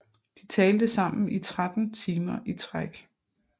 De talte sammen i 13 timer i træk